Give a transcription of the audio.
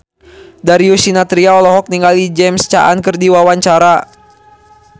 Darius Sinathrya olohok ningali James Caan keur diwawancara